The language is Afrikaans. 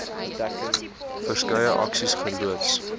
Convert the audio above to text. verskeie aksies geloods